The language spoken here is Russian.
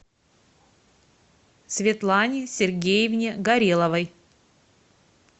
светлане сергеевне гореловой